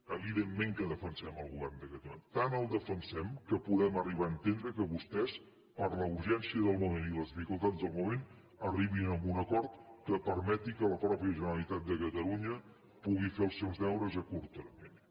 evidentment que defensem el govern de catalunya tant el defensem que podem arribar a entendre que vostès per la urgència del moment i les dificultats del moment arribin a un acord que permeti que la mateixa generalitat de catalunya pugui fer els seus deures a curt termini